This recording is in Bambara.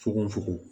Fokon fokon